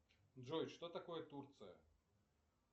джой что такое турция